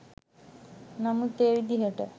නමුත් ඒ විදිහට